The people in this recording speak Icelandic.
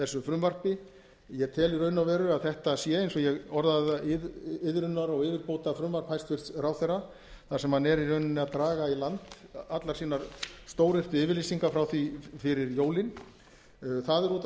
þessu frumvarpi ég tel í raun og veru að þetta sé eins og ég orðaði það iðrunar og yfirbótafrumvarp hæstvirtur ráðherra þar sem hann er í rauninni að draga í land allar sínar stóryrtu yfirlýsingar frá því fyrir jólin það er út af fyrir